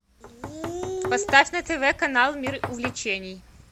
поставь на тв канал мир увлечений